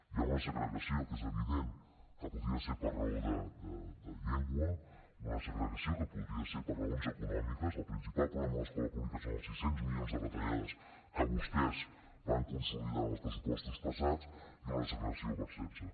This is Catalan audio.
hi ha una segregació que és evident que podria ser per raó de llengua una segregació que podria ser per raons econòmiques el principal problema de l’escola pública són els sis cents milions de retallades que vostès van consolidar en els pressupostos passats i una segregació per sexe